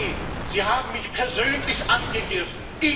Herr Salvini, Sie haben mich persönlich angegriffen.